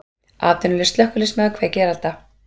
Atvinnulaus slökkviliðsmaður kveikir elda